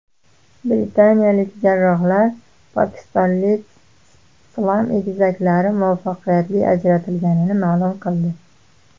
Britaniyalik jarrohlar pokistonlik siam egizaklari muvaffaqiyatli ajratilganini ma’lum qildi.